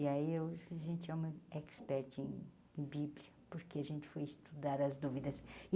E aí eu a gente é uma expert em em Bíblia, porque a gente foi estudar as dúvidas.